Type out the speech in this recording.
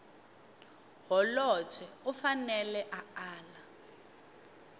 holobye u fanele a ala